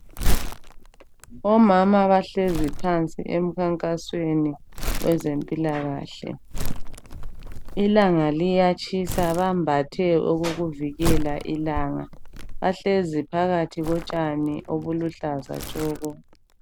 Omama bahlezi phansi emkhankasweni wezempilakahle. Ilanga liyatshisa bambathe okokuvikela ilanga bahlezi phakathi kotshani obuluhlaza tshoko.